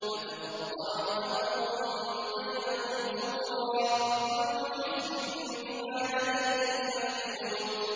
فَتَقَطَّعُوا أَمْرَهُم بَيْنَهُمْ زُبُرًا ۖ كُلُّ حِزْبٍ بِمَا لَدَيْهِمْ فَرِحُونَ